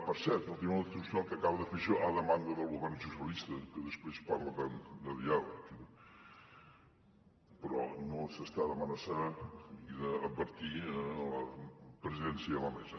per cert el tribunal constitucional que acaba de fer això a demanda del govern socialista que després parla tant de diàleg però no s’està d’amenaçar i d’advertir a la presidència i a la mesa